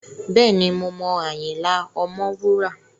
Bẹ́ẹ̀ni, mo mọ Ayinla Omowura.